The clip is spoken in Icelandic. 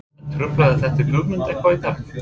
En truflaði þetta Guðmund eitthvað í dag?